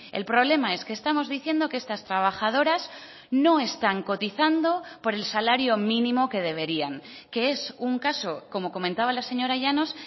el problema es que estamos diciendo que estas trabajadoras no están cotizando por el salario mínimo que deberían que es un caso como comentaba la señora llanos